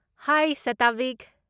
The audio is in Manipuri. ꯍꯥꯏ ꯁꯥꯇꯕꯤꯛ!